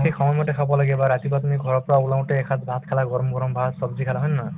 সেই সময় মতে খাব লাগে বা ৰাতিপুৱা তুমি ঘৰৰ পৰা ওলাওতে এসাজ ভাত খালা গৰম গৰম ভাত ছব্জি খালা হয় নে নহয়